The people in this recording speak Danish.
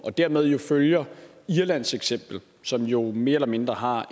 og dermed følger irlands eksempel som jo mere eller mindre har